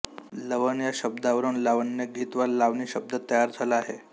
लवण या शब्दावरून लावण्यगीत वा लावणी शब्द तयार झाला आहे